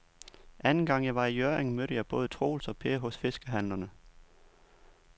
Anden gang jeg var i Hjørring, mødte jeg både Troels og Per hos fiskehandlerne.